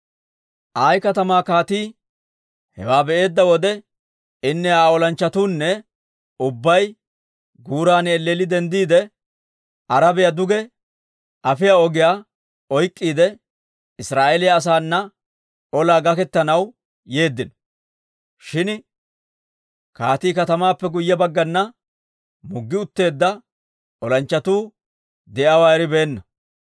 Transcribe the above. Ayi katamaa kaatii hewaa be"eedda wode, inne Aa olanchchatuunne ubbay guuran elleelli denddiide, Arabiyaa duge afiyaa ogiyaa oyk'k'iide, Israa'eeliyaa asaana olaa gaketanaw yeeddino; shin kaatii katamaappe guyye baggana muggi utteedda olanchchatuu de'iyaawaa eribeenna.